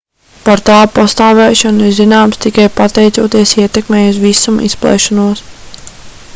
par tā pastāvēšanu ir zināms tikai pateicoties ietekmei uz visuma izplešanos